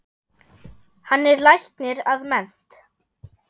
Hann er læknir að mennt.